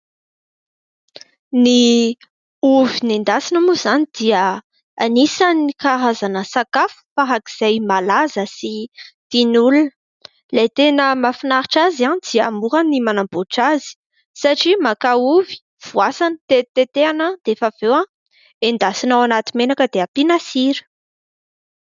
Ny ovy nendasina moa izany dia anisany karazana sakafo farak'izay malaza sy tian'olona, ilay tena mahafinaritra azy dia mora ny manamboatra azy satria maka ovy, voasana, tetitetehana dia rehefa avy eo endasina ao anaty menaka dia ampiana sira.